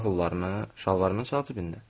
Xırda pullarını şalvarımın sol cibində.